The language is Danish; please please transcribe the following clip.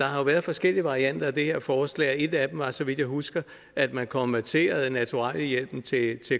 har været forskellige varianter af det her forslag og et af dem var så vidt jeg husker at man konverterede naturalhjælpen til en